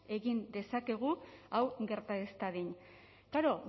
egin dezakegu hau gerta ez dadin klaro